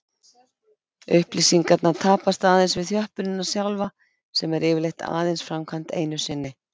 Upplýsingarnar tapast aðeins við þjöppunina sjálfa sem er yfirleitt aðeins framkvæmd einu sinni.